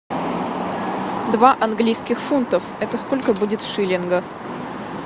два английских фунтов это сколько будет в шиллингах